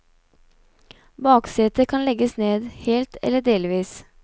Baksetet kan legges ned, helt eller delvis.